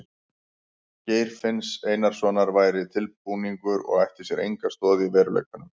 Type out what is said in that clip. Geir finns Einarssonar væri tilbúningur og ætti sér enga stoð í veruleikanum.